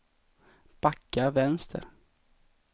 backa vänster